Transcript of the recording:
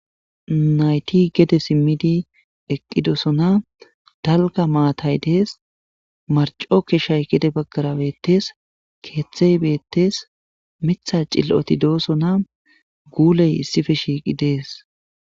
Nayti gede simmid eqqidosona. Dalgga maatay deessi, marcco keshay gede baggara beettes, keeththey beettes, miththa cil'oti doosona, guuley issippe shiiqi deessi.